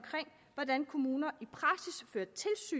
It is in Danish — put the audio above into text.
hvordan kommuner